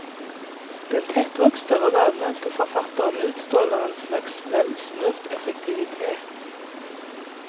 Den tettvokste og lavmælte forfatteren utstråler en slags velsmurt effektivitet.